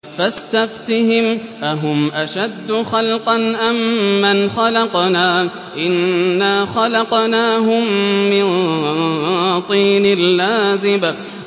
فَاسْتَفْتِهِمْ أَهُمْ أَشَدُّ خَلْقًا أَم مَّنْ خَلَقْنَا ۚ إِنَّا خَلَقْنَاهُم مِّن طِينٍ لَّازِبٍ